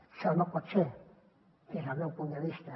això no pot ser des del meu punt de vista